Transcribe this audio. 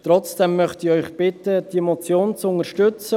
Trotzdem möchte ich Sie bitten, diese Motion zu unterstützen.